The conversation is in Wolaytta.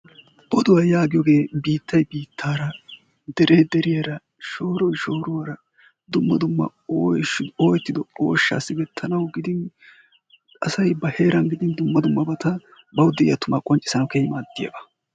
Oduwaa yaagiyooge biittay biittaara, dere deriyaara, shooroy shooruwaara dumma dumma ooyettido ooshsha siggetanaw gidin asay ba heeran gidin dumma dummabata bawu de'iya tuma qonccissanawu keehin maaddiyaaba.